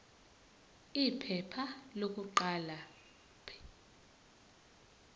iphepha lokuqala p